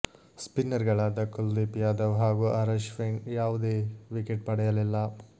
spinner ಗಳಾದ ಕುಲದೀಪ್ ಯಾದವ್ ಹಾಗೂ R Ashwin ಯಾವುದೇ ವಿಕೆಟ್ ಪಡೆಯಲಿಲ್ಲ